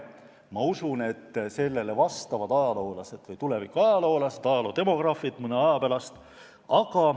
Ma usun, et sellele vastavad ajaloolased või tuleviku ajaloodemograafid mõne aja pärast.